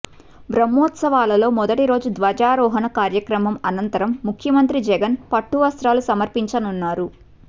బ్రహ్మోత్సవాలలో మొదటి రోజు ధ్వజారోహణ కార్యక్రమం అనంతరం ముఖ్యమంత్రి జగన్ పట్టు వస్త్రాలు సమర్పించనున్నారు